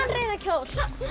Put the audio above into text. rauðan kjól